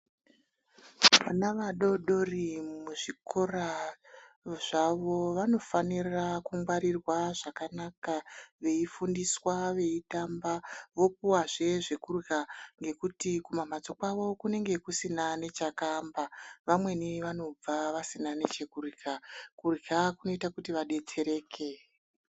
Vana vadoodori muzvikora zvavo vanofanirqa kungwarirwa zvakanaka veyifundiswa veyitamba vopiwa zvee zvekudya ngekuti kumamhatso kwavo kunenge kusina chakamba vamweni vanobva vasina nechekudya kurya kunoita kuti vabetsereke.